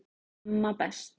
Amma best